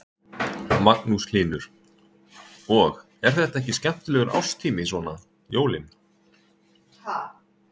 Magnús Hlynur: Og, er þetta ekki skemmtilegur árstími, svona jólin?